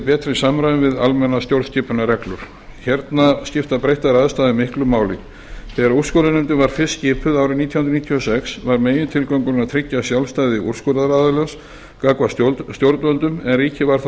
í betra samræmi við almennar stjórnskipunarreglur hérna skipta breyttar aðstæður miklu máli þegar úrskurðarnefndin var fyrst skipuð árið nítján hundruð níutíu og sex var megintilgangurinn að tryggja sjálfstæði úrskurðaraðilans gagnvart stjórnvöldum en ríkið var þá